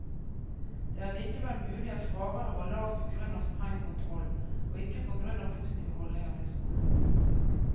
Det er likevel mulig at fraværet var lavt på grunn av streng kontroll, og ikke på grunn av positive holdninger til skolen.